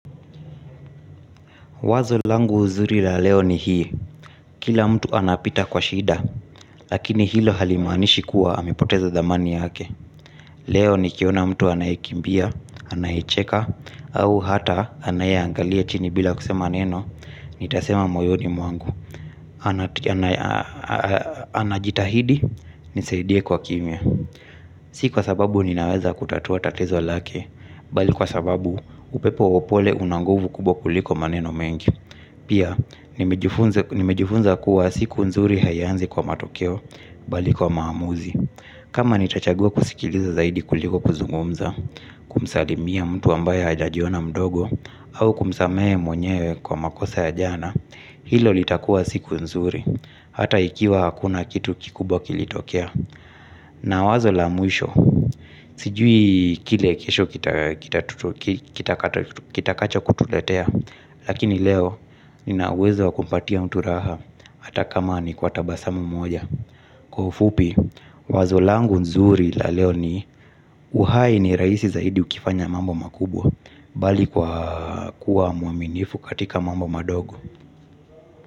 Wazo langu uzuri la leo ni hii, kila mtu anapita kwa shida, lakini hilo halimaanishi kuwa, amepoteza thamani yake. Leo, nikiona mtu anayekimbia, anayecheka, au hata anayeangalia chini bila kusema neno, nitasema moyoni mwangu, anajitahidi, nisaidie kwa kimya. Si kwa sababu ninaweza kutatua tatizo lake, bali kwa sababu, upepo wa pole una nguvu kubwa kuliko maneno mengi. Pia, nimejifunza kuwa siku nzuri haianzi kwa matokeo bali kwa maamuzi. Kama nitachagua kusikiliza zaidi kuliko kuzungumza, kumsalimia mtu ambaye hajajiona mdogo, hau kumsamehe mwenyewe kwa makosa ya jana, hilo litakua siku nzuri. Hata ikiwa hakuna kitu kikubwa kilitokea, na wazo la mwisho. Sijui kile kesho kitakachokutuletea. Lakini leo, nina uwezo wakumpatia mtu raha ata kama ni kwa tabasamu moja. Kwa ufupi, wazo langu nzuri la leo ni, uhai ni rahisi zaidi ukifanya mambo makubwa. Bali kwa kuwa muaminifu katika mambo madogo.